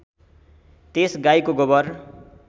त्यस गाईको गोबर